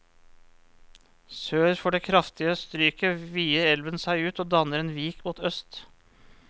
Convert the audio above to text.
Sør for det kraftige stryket vider elven seg ut og danner en vik mot øst.